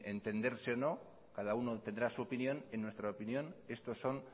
entenderse o no cada uno tendrá su opinión en nuestra opinión estos son